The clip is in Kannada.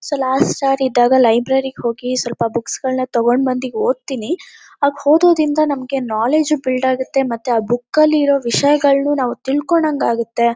ಸೊ ಲಾಸ್ಟ್ ಹೌರ್ ಇದ್ದಾಗ ಲೈಬ್ರರಿಗ್ ಹೋಗಿ ಸ್ವಲ್ಪ ಬುಕ್ಸ್ ಗಳ್ನ ತಗೋಂಡ್ಬಂದು ಓದ್ತೀನಿ ಹಾಗ್ ಓದೋದಿಂದ ನಮ್ಗೆ ನಾಲೆಡ್ಜು ಬಿಲ್ಡ್ ಆಗತ್ತೆಮತ್ತೆ ಆ ಬುಕ್ ಅಲ್ಲಿರೋ ವಿಷಯಗಳ್ನು ನಾವ್ ತಿಳ್ಕೊಂಡಂಗ್ ಆಗತ್ತೆ.